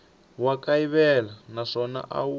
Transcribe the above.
wa kayivela naswona a wu